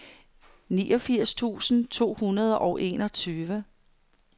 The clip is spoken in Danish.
niogfirs tusind to hundrede og enogtyve